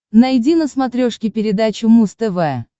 найди на смотрешке передачу муз тв